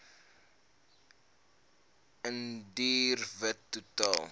indiër wit totaal